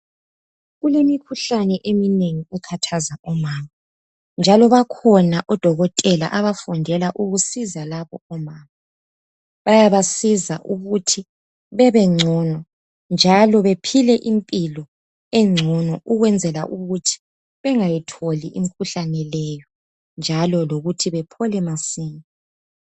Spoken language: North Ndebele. kulemikhuhlane eminengi ekhahaza omama njalo bakhona odokotela abafundela ukusiza laba omama bayabasiza ukuthi bebencono njalo bephile impilo encono kwenzela ukuthi bngayitholi imikhuhlane leyo njalo besile masinyane